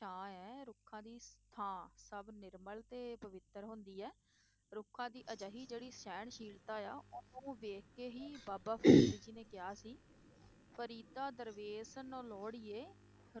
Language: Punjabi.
ਛਾਂ ਹੈ, ਰੁੱਖਾਂ ਦੀ ਥਾਂ ਸਭ ਨਿਰਮਲ ਹੈ ਤੇ ਪਵਿੱਤਰ ਹੁੰਦੀ ਹੈ, ਰੁੱਖਾਂ ਦੀ ਅਜਿਹੀ ਜਿਹੜੀ ਸਹਿਣਸ਼ੀਲਤਾ ਆ ਉਹਨੂੰ ਵੇਖ ਕੇ ਹੀ ਬਾਬਾ ਫ਼ਰੀਦ ਜੀ ਨੇ ਕਿਹਾ ਸੀ, ਫਰੀਦਾ ਦਰਵੇਸਾਂ ਨੋ ਲੋੜੀਐ,